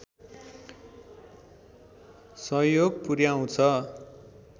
सहयोग पुर्‍याउँछ